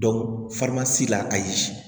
la ayi